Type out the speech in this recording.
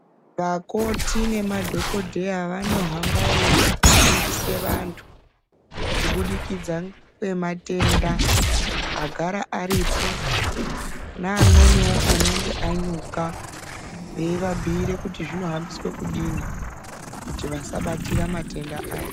Vakoti nemadhogodheya vanohama veifundise vantu kubudikidza kwematenda agara aripo, neamweniwo anenge anyuka, veiabhuyire kuti zvinohambiswe kudini kuti vasabatira matenda aya.